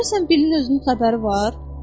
Görəsən Billin özünün xəbəri var?